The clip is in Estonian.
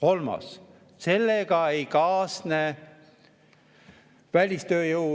Kolmas: sellega ei kaasne välistööjõu